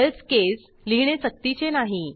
else case लिहिणे सक्तीचे नाही